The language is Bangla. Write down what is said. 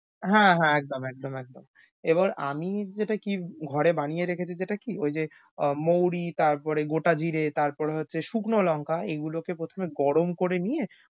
হ্যাঁ হ্যাঁ একদম একদম একদম। এবার আমি যেটা কি ঘরে বানিয়ে রেখেছি যেটা কি ঐ যে আহ মৌরি, তারপরে গোটা জিরে, তারপর হচ্ছে শুকনো লঙ্কা এগুলোকে প্রথমে গরম করে নিয়ে